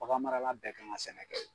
bagan marala bɛɛ kan ka sɛnɛ kɛ